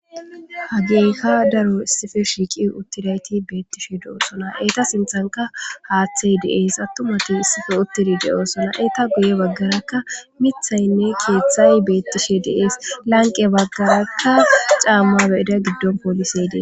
hageyka daro issife shiiqi uttidayti beettishe de7oosona eyta sinthanka haaththey de7ees attumati issife uttidi de7oosona eta guye baggarakka mithaynne keeththay beettishe deees lanqe baggarakka caammabeida giddon poolise dee